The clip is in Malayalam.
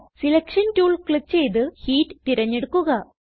സെലക്ഷൻ ടൂൾ ക്ലിക്ക് ചെയ്ത് ഹീറ്റ് തിരഞ്ഞെടുക്കുക